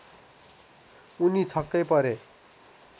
उनी छक्कै परे